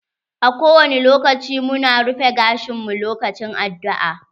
A ko wani lokaci mu na rufe gashin mu lokacin addu'a.